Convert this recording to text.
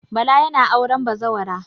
Bala yana auren bazawara.